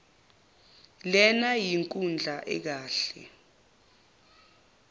lena yinkundla ekahle